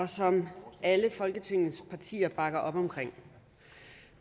som alle folketingets partier bakker op om